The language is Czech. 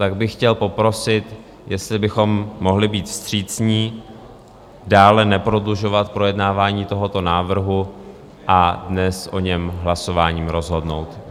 Tak bych chtěl poprosit, jestli bychom mohli být vstřícní, dále neprodlužovat projednávání tohoto návrhu a dnes o něm hlasováním rozhodnout.